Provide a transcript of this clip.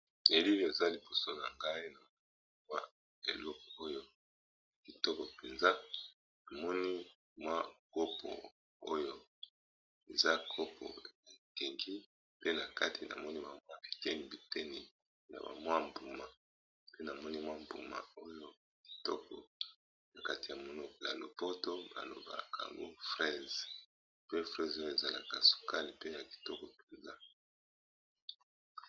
Elili eza liboso na nga eza eloko ya kitoko namoni kopo bakati biteni ya mbuma oyo na monoko ya lopoto ba bengaka yango fraise ezalaka sukali pe kitoko.